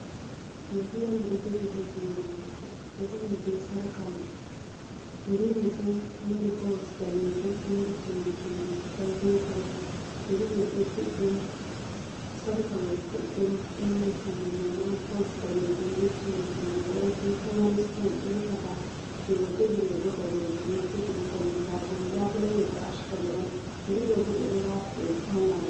Yeri on o do jogi ha jungo mako yerimai bo do mari bols danejum ,do mari cimbi cimbi goldin kolor yerimaibo sarka mai juddum do mari kanjum mai ma bols danejum be cimbi cimbi goldin do mari stone delkata jungo jogi mai bo danejum mo jogi bo kombilabule labule mai bo ashcolo on yerido bobe do wata dum fauna on.